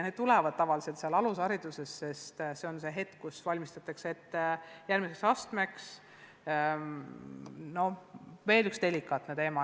Need küsimused esitatakse tavaliselt alushariduses, sest lasteaed on koht, kus laps valmistatakse ette järgmiseks astmeks.